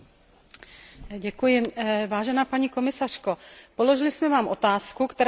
Paní komisařko, položili jsme Vám otázku, která se týká označení místní produkt.